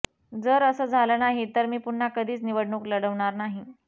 जर असं झालं नाही तर मी पुन्हा कधीच निवडणूक लढवणार नाही